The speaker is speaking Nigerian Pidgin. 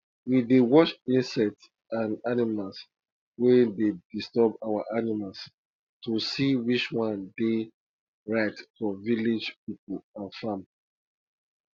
we dey watch insects and animals wey dey disturb our animals to see which one dey right for village people and farm